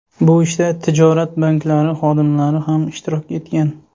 Bu ishda tijorat banklari xodimlari ham ishtirok etgan.